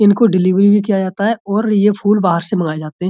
इनको डिलीवरी भी किया जाता है और यह फूल बाहर से मंगाए जाते हैं।